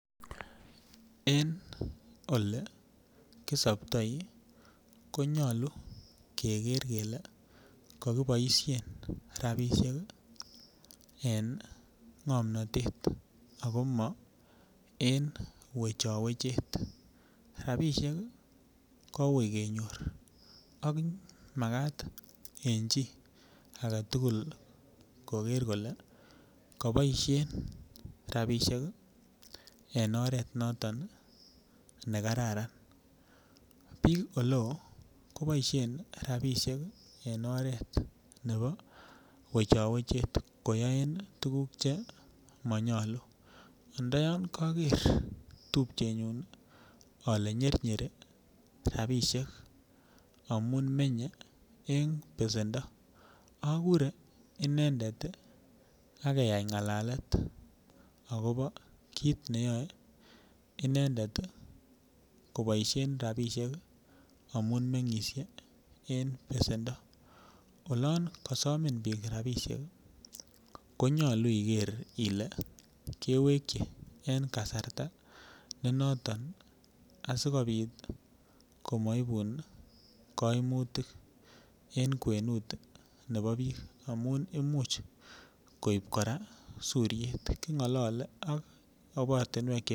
En olekisoptoi ko nyalu keger kele kakiboisien rapisiek en ngomnatet agoma, en wechawechet. Rapisiek ko ui kenyor ak magat en chi agetugul koger kole kaboisien rapisiek en oret noton ne kararan. Biik oleo kobaisien rapisiek en oret nebo wechawechet koyoen tuguk chemanyalu. Ndayon kager tupchenyun ale nyernyeri rapisiek amun menye en besendo. Agure inendet ak keyai ngalalet agobo kit neyoe inendet koboisien rapisiek amun mengisie en besendo. Olon kasomin biik rapisiek konyalu iger ile kewekyi en kasarta ne noton asigopit komaibun kaimutik en kwenut nebo biik amun imuch koip kora suriet, kingalaleak